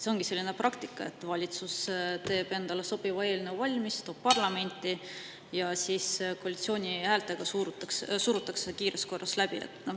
Ongi selline praktika, et valitsus teeb endale sobiva eelnõu valmis, toob parlamenti ja siis koalitsiooni häältega surutakse see kiires korras läbi.